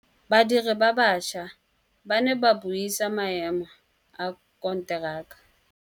Badiri ba baša ba ne ba buisa maêmô a konteraka.